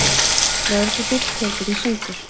Lögreglubíll tekinn í sundur